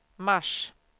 mars